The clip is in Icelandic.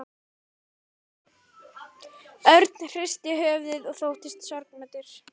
Örn hristi höfuðið og þóttist sorgmæddur.